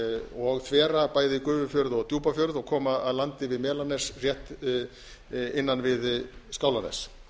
og þvera bæði gufufjörð og djúpafjörð og koma að landi við melanes rétt innan við skálanes